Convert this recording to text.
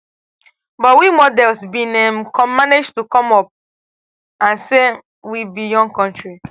but we [models] bin um manage to to come up and say um we be young kontri